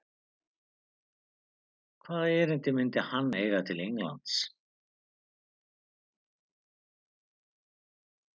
Hvaða erindi myndi hann eiga til Englands?